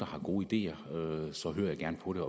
har gode ideer så hører jeg gerne på det